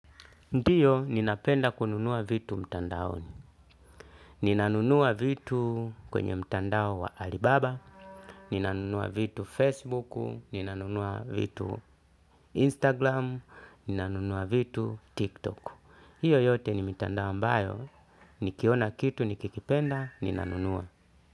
Ndio, ninapenda kununua vitu mtandaoni. Ninanunua vitu kwenye mtandao wa Alibaba. Ninanunua vitu Facebook, ninanunua vitu instagram, ninanunua vitu TikToku. Hiyo yote ni mitandao ambayo nikiona kitu, nikikipenda, ninanunua.